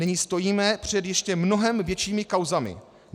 Nyní stojíme před ještě mnohem většími kauzami.